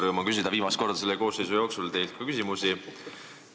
Rõõm on küsida viimast korda selle koosseisu jooksul ka teilt küsimusi!